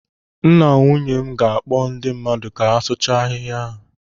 Nna nwunye m ga-akpọ ndị mmadụ ka asụcha ahihia a.